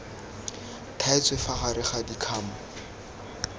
thaetswe fa gare ga dikgamu